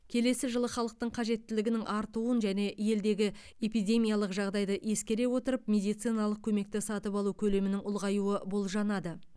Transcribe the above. келесі жылы халықтың қажеттілігінің артуын және елдегі эпидемиялық жағдайды ескере отырып медициналық көмекті сатып алу көлемінің ұлғаюы болжанады